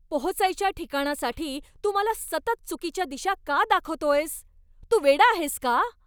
पोहोचायच्या ठिकाणासाठी तू मला सतत चुकीच्या दिशा का दाखवतोयस? तू वेडा आहेस का?